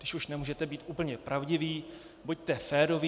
Když už nemůžete být úplně pravdiví, buďte féroví.